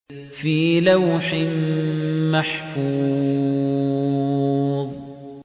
فِي لَوْحٍ مَّحْفُوظٍ